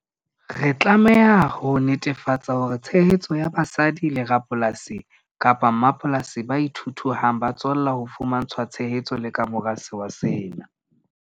Re tlameha ho netefatsa hore tshehetso ya basadi le rapolasi kapa mmapolasi ba ithuthuhang ba tswella ho fumantshwa tshehetso le ka mora sewa sena.